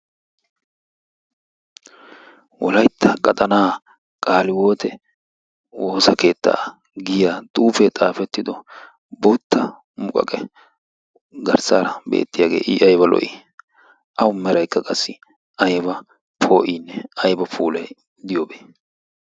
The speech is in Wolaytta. wolaytta qaxanaa qaaliwoote woossa keetta giya xuufee xaafetido bootta muqaqe garssara beetiyagee. i aybba lo'ii? awu meraynne aybba poo'iinne ayba puulay diyoobee?